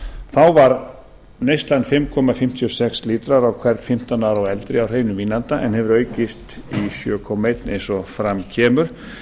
þá var neyslan fimm komma fimmtíu og sex lítrar á hvern fimmtán ára og eldri af hreinum vínanda en hefur aukist í sjö komma eitt eins og fram kemur